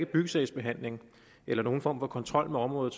byggesagsbehandling eller nogen form for kontrol med området